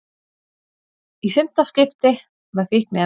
Í fimmta skipti með fíkniefni